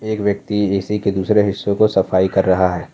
एक व्यक्ति ए_सी के दूसरे हिस्सों को सफाई कर रहा है।